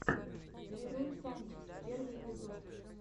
лерой санчес первый эпизод